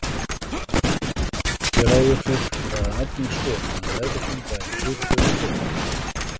Hér áður fyrr var það algeng skoðun að meðvitund væri hlutlaus og óvirk.